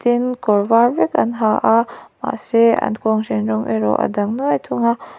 kawr var vek an ha a a mahse an kawnghren rawng erawh a dang nuai thung a.